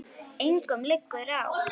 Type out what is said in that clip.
Engum liggur á.